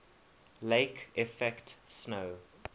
lake effect snow